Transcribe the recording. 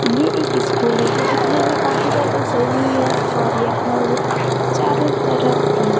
ये एक स्कूल है जो दीखने में काफी ज्यादी सही है और यह चारों तरफ--